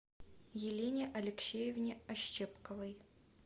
елене алексеевне ощепковой